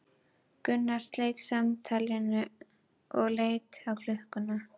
Gunnar sleit samtalinu og leit á klukkuna.